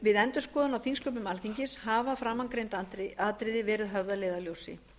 við endurskoðun á þingsköpum alþingis hafa framangreind atriði verið höfð að leiðarljósi